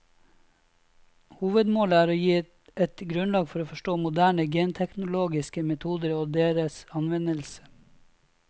Hovedmålet er å gi et grunnlag for å forstå moderne genteknologiske metoder og deres anvendelse.